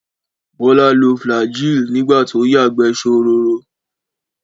Bọ́lá lo Flagyl nígbà tó yàgbẹ́ ṣororo.